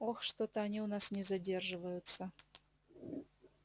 ох что-то они у нас не задерживаются